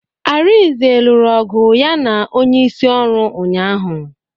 Arinze lụrụ ọgụ na onye isi ọrụ ụnyaahụ